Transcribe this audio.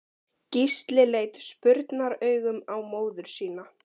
Gísli leit spurnaraugum á móður sína.